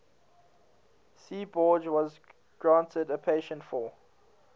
seaborg was granted a patent for